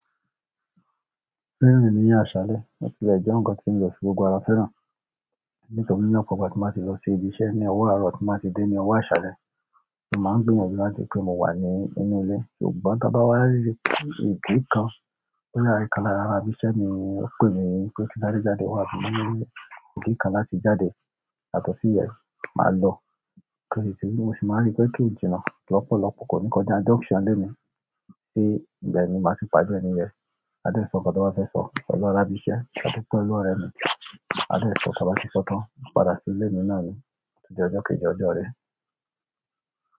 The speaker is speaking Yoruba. Rírìn ní àsàlẹ̀, kò ti lẹ̀ jẹ́ nǹkan tí mo fì gbogbo ara fẹ́ràn. Nítorí náà, gbogbo ìgbà tí mo bá ti lọ sí ibi iṣẹ́, ní ọwọ́ àárọ̀, tí mo bá ti dé, ní ọwọ́ àṣálẹ̀, mo máa ń gbìyànjú láti rí i pé mo wà nínú ilé. Ṣùgbọ́n tí a bá wá rí ìdí kan tó yẹ kí a lọ ra bí iṣẹ́ ni ó pè mi pé kí n jáde jáde wá sí inú ilé, ìdí kan láti jáde, yàtọ̀sí yẹn máa lọ. Òkìtì mi ò sì máa rí pé kí n jìnnà tó lọ́pọ̀lọ́pọ̀ kò ní kan jẹ́ junction ilé mi, kí ibẹ̀ ni màá ti pàdé ẹni yẹn, a lè sọ ohun tí wọ́n fẹ́ sọ, lọlá ràbí iṣẹ́, màá dúpẹ́ lọ́rẹ́ mi, a dẹ̀ sọ ohun tí a bá ti sọ tán, padà sí ilé mi náà ni, ó tún di ọjọ́ kejì ọjọ́ ire.